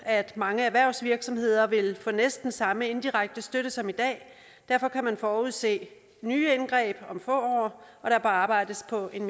at mange erhvervsvirksomheder vil få næsten samme indirekte støtte som i dag derfor kan man forudse nye indgreb om få år og der bør arbejdes på en